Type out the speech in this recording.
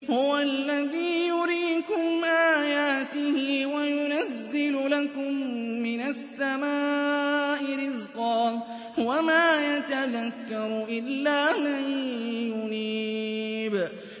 هُوَ الَّذِي يُرِيكُمْ آيَاتِهِ وَيُنَزِّلُ لَكُم مِّنَ السَّمَاءِ رِزْقًا ۚ وَمَا يَتَذَكَّرُ إِلَّا مَن يُنِيبُ